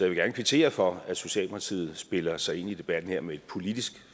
vil gerne kvittere for at socialdemokratiet spiller sig ind i debatten her med et politisk